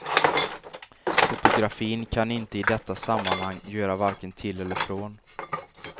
Fotografin kan inte i detta sammanhang göra varken till eller från.